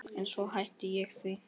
En svo hætti ég því.